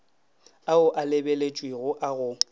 ao a lebeletšwego a go